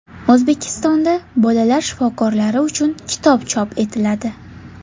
O‘zbekistonda bolalar shifokorlari uchun kitob chop etiladi.